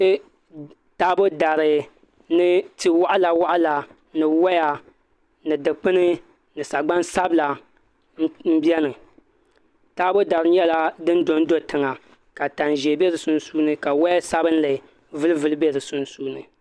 Kpɛ taabo dari ni tia waɣala waɣala ni woya ni dikpuni ni sagbani sabila n biɛni taabo dari nyɛla din dondo tiŋa ka tani ʒiɛ bɛ di puuni ka woya sabinli vulivuli bɛ di puuni